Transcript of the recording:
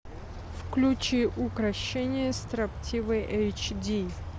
включи укрощение строптивой эйч ди